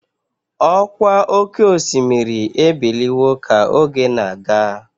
Ọkwa oké osimiri ebiliwo ka oge na-aga.